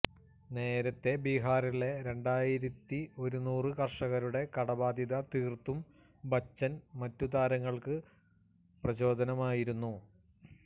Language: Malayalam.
നേരത്തെ ബിഹാറിലെ രണ്ടായിരത്തി ഒരുനൂറ് കര്ഷകരുടെ കടബാധ്യത തീർത്തും ബച്ചൻ മറ്റു താരങ്ങൾക്ക് പ്രചോദനമായിരുന്നു